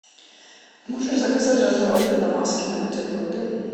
можешь заказать разного вида намазки на бутерброды